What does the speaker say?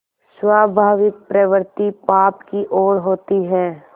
स्वाभाविक प्रवृत्ति पाप की ओर होती है